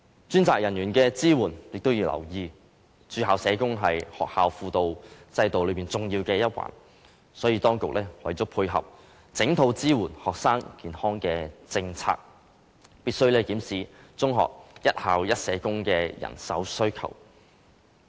當局也要留意專責人員的支援，駐校社工是學校輔導制度中重要的一環，所以當局為了配合整套支援學生健康的政策，必須檢視中學一校一社工的人手需求。